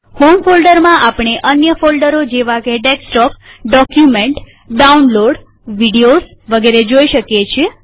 home ફોલ્ડરમાંઆપણે અન્ય folder જેવા કે ડેસ્કટોપડોક્યુમેન્ટડાઉનલોડવિડિયોઝ વગેરે જોઈ શકીએ છીએ